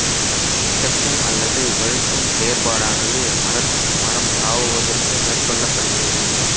மிதக்கும் அல்லது வழுக்கும் செயற்பாடானது மரத்துக்கு மரம் தாவுவதற்கு மேற்கொள்ளப்படுகிறது